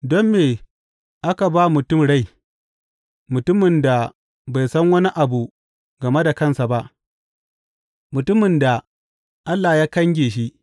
Don me aka ba mutum rai, mutumin da bai san wani abu game da kansa ba, mutumin da Allah ya kange shi.